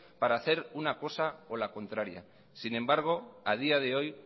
para hacer una cosa o la contraria sin embargo a día de hoy